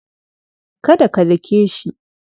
Do not beat him.